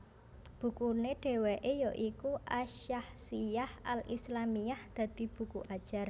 Bukune dheweke ya iku As Syakhshiyyah al Islâmiyyah dadi buku ajar